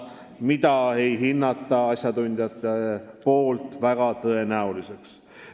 Seda aga ei hinda asjatundjad väga tõenäoliseks.